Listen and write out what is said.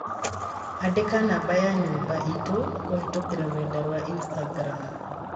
Andika nũmber ya nyumba itu kũhītũkīra rũrenda rũa Instagram